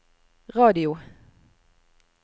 radio